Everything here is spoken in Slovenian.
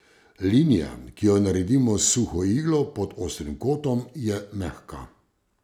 Linija, ki jo naredimo s suho iglo pod ostrim kotom, je mehka.